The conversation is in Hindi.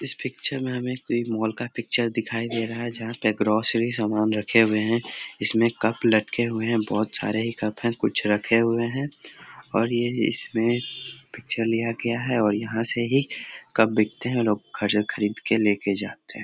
इस पिक्चर मे हमे एक कोई मॉल का पिक्चर दिखाई दे रहा है जहां पे ग्रौसरी सामान रखे हुए है इसमे कप लटके हुए है बहुत सारे ही कप है कुछ रखे हुए है और ये ये इसमें पिक्चर लिया गया है और यहाँ से ही कप बिकते हैं और लोग खरीद-खरीद के ले जाते है।